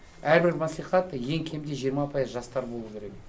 әрбір мәслихат ең кемде жиырма пайыз жастар болу керек